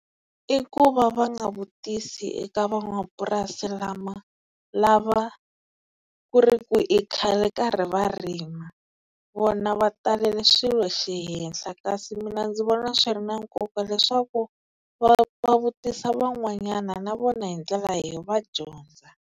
I ku va va nga vutisi eka van'wamapurasi lava ku ri ku i khale karhi va rima, vona va talele swilo xihenhla, kasi mina ndzi vona swi ri na nkoka leswaku va va vutisa van'wanyana na vona hi ndlela leyi va dyondza.